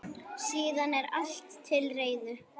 Síðan er allt til reiðu.